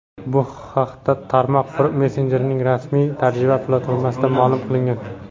Bu haqda tarmoq messenjerining rasmiy tarjima platformasida ma’lum qilingan.